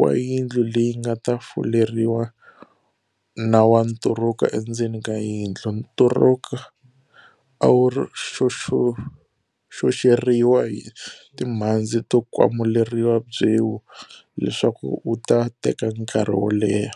wa yindlu leyi nga ta fuleriwa na wa nturuka endzeni ka yindlu. Nturuka a wu xoxeriwa hi timhandzi to kwamuleriwa byewu leswaku wu ta teka nkarhi wo leha.